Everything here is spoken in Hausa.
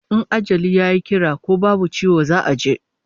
In ajali yayi kira ko babu ciwo za'a je